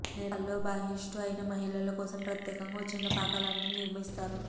నేపాల్లో బహిష్టు అయిన మహిళల కోసం ప్రత్యేకంగా ఓ చిన్న పాకలాంటిది నిర్మిస్తారు